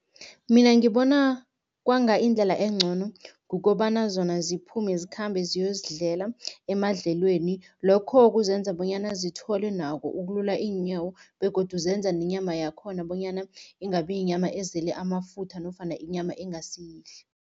Mina ngibona kwanga indlela engcono, kukobana zona ziphume, zikhambe ziyozidlela emadlelweni. Lokho kuzenza bonyana zithole nako ukulula iinyawo begodu zenza nenyama yakhona bonyana ingabi yinyama ezele amafutha nofana inyama engasiyihle.